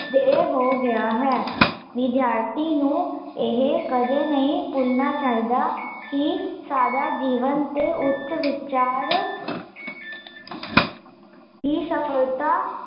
ਦੇ ਹੋ ਗਿਆ ਹੈ ਵਿਦਿਆਰਥੀ ਨੂੰ, ਇਹ ਕਦੇ ਨਹੀਂ ਭੁੱਲਣਾ ਚਾਹੀਦਾ ਕੀ, ਸਾਦਾ ਜੀਵਨ ਤੇ ਉੱਚ ਵਿਚਾਰ ਹੀਂ ਸਫਲਤਾ